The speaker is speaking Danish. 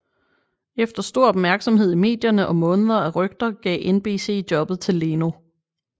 Efter stor opmærksomhed i medierne og måneder af rygter gav NBC jobbet til Leno